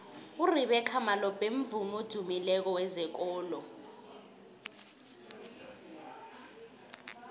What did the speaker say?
urebeca malope mvumi odumileko wezekolo